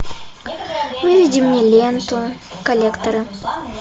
выведи мне ленту коллекторы